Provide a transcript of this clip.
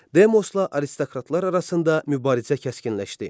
Demosla aristokratlar arasında mübarizə kəskinləşdi.